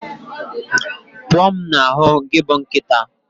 Pụọ m na ahu gị bụ nkịta